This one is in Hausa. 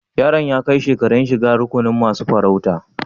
Yaron ya kai shekaran shigan rukunin masun farauta?